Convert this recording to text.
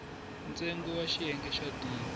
ntsengo wa xiyenge xa d